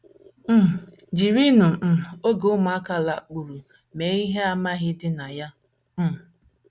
um Jirinụ um oge ụmụaka lakpuru mee ihe amamihe dị na ya um.